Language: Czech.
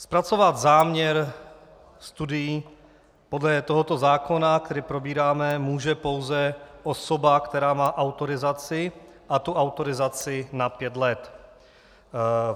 Zpracovat záměr studií podle tohoto zákona, který probíráme, může pouze osoba, která má autorizaci a tu autorizaci na pět let.